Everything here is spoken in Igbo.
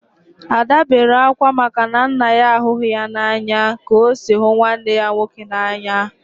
Ada bere akwa maka na nna ya ahụghị ya n'anya ka o si hụ nwanne ya nwoke n'anya